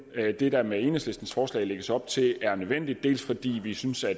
det der med enhedslistens forslag lægges op til er nødvendigt dels fordi vi synes at